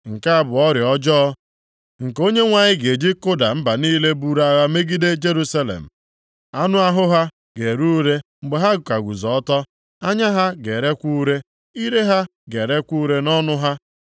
Nke a bụ ọrịa ọjọọ nke Onyenwe anyị ga-eji kụda mba niile buru agha megide Jerusalem. Anụ ahụ ha ga-ere ure mgbe ha ka guzo ọtọ. Anya ha ga-erekwa ure, ire ha ga-erekwa ure nʼọnụ ha.